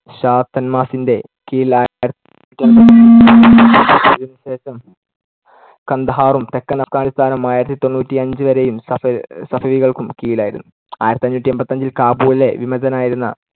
ഷാ തന്മാഹാസിന്‍ടെ കീഴിലാ അതിനുശേഷം കന്ദഹാറും തെക്കൻ അഫ്ഘാനിസ്താനും ആയിരത്തി തൊണ്ണൂറ്റിയഞ്ചുവരെയും സഫ~ സഫലികൾക്കും കീഴിലായിരുന്നു. ആയിരത്തിഅഞ്ഞൂറ്റി എൺപത്തിയഞ്ചിൽ കാബൂളിലെ വിമതനായിരുന്ന